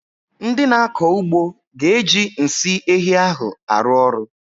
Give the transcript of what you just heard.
Ndị na-akọ ugbo ga-eji nsị ehi ahụ arụ ọrụ.